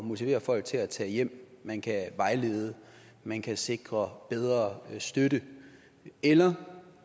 motivere folk til at tage hjem man kan vejlede man kan sikre bedre støtte eller